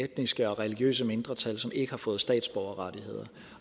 etniske og religiøse mindretal som ikke har fået statsborgerrettigheder